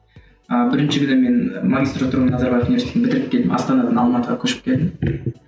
ы бірінші күні мен магистратураны назарбаев университетін бітіріп келіп астанадан алматыға көшіп келдім